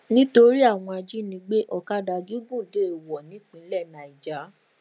nítorí àwọn ajínigbé ọkadà gígùn déèwọ̀ ní ìpínlẹ nàìjá